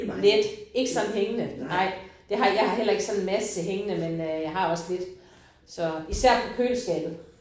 Lidt. Ikke sådan hængende nej. Det har jeg har heller ikke sådan en masse hængende men øh jeg har også lidt så især på køleskabet